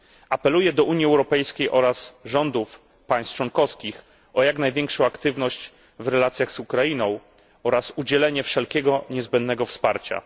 Apeluję do Unii Europejskiej oraz rządów państw członkowskich o jak największą aktywność w relacjach z Ukrainą oraz udzielenie wszelkiego niezbędnego wsparcia.